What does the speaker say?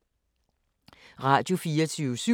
Radio24syv